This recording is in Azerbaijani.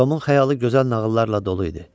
Tomun xəyalı gözəl nağıllarla dolu idi.